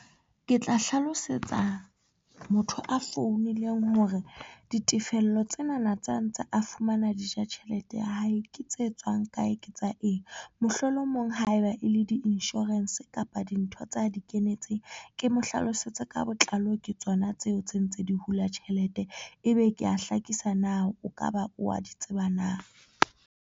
Ke tla hlalosetsa motho a founileng hore ditefello tsena na tse a ntse a fumana. Di ja tjhelete ya hae ke tse tswang kae ke tsa eng, mohlolomong ha eba e le di-insurance kapa dintho tsa di kenetseng, ke mo hlalosetse ka botlalo ke tsona tseo tse ntse di hula tjhelete, ebe ke ya hlakisa. Na o ka ba wa di tseba na?